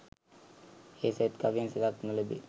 ඒ සෙත් කවියෙන් සෙතක් නොලැබේ.